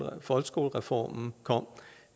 folkeskolereformen kom